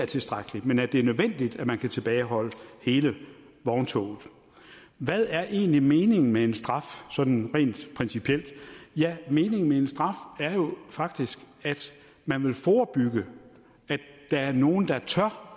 tilstrækkeligt men at det er nødvendigt at man kan tilbageholde hele vogntoget hvad er egentlig meningen med en straf sådan rent principielt ja meningen med en straf er jo faktisk at man vil forebygge at der er nogle der tør